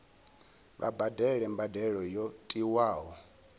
vha badele mbadelo yo tiwaho